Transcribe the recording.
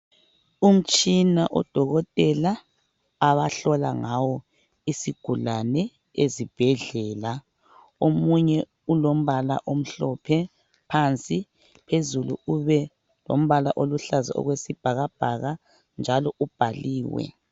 Umtshina odokotela abahlola ngawo isigulane ezibhedlela omunye ulombala omhlophe phansi, phezulu ube lombala oluhlaza okwesibhakabhaka njalo ubhaliwe.